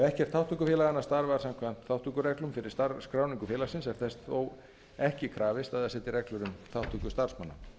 ekkert þátttökufélaganna starfar samkvæmt þátttökureglum fyrir skráningu félagsins er þess þó ekki krafist að það setji reglur um þátttöku starfsmanna